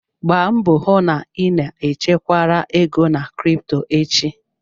Gbaa mbọ hụ na ị na-echekwara ego na krịptọ echi